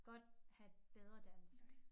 Godt have bedre dansk